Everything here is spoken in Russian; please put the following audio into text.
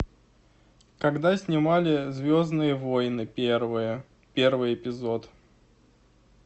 когда снимали звездные войны первые первый эпизод